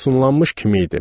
Ofsunlanmış kim idim.